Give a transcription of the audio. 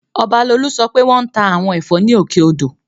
Ọbalolú sọ pé wọ́n ta àwọn ẹ̀fọ́ ní Òkè odò